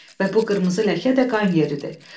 Və bu qırmızı ləkə də qan yeridir.